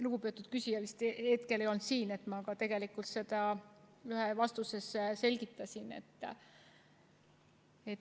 Lugupeetud küsija vist tol hetkel ei olnud siin, kui ma seda ühes vastuses selgitasin.